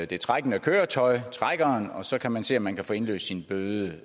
det trækkende køretøj trækkeren og så kan man se om man kan få indløst sin bøde